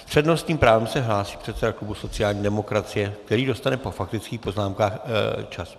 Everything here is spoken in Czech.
S přednostním právem se hlásí předseda klubu sociální demokracie, který dostane po faktických poznámkách čas.